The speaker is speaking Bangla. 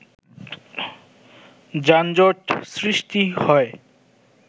যানজট সৃষ্টি হয়